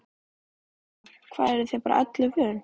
Eva: Hvað eruð þið bara öllu vön?